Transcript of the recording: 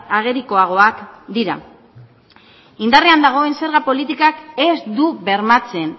agerikoagoak dira indarrean dagoen zerga politikak ez du bermatzen